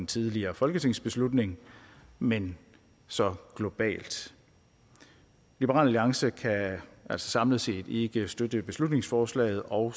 tidligere folketingsbeslutning men så globalt liberal alliance kan samlet set ikke støtte beslutningsforslaget og